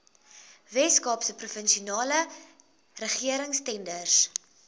weskaapse provinsiale regeringstenders